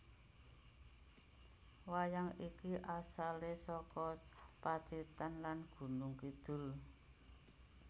Wayang iki asalè saka Pacitan lan Gunung Kidul